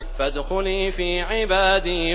فَادْخُلِي فِي عِبَادِي